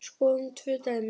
Skoðum tvö dæmi.